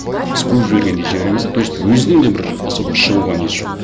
біз қуып жібергендей жібереміз де то есть өзінің де бір особо шығуға несі жоқ